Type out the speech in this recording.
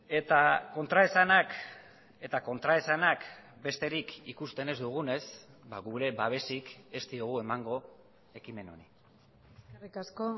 eta kontraesanak eta kontraesanak besterik ikusten ez dugunez gure babesik ez diogu emango ekimen honi eskerrik asko